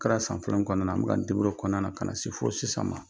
Kɛra san filanan kɔnɔna na an bɛ k'an deburuye o kɔnɔna na ka na se fo sisan ma